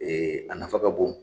Ee a nafa ka bon